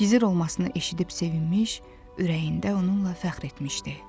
gizir olmasını eşidib sevinmiş, ürəyində onunla fəxr etmişdi.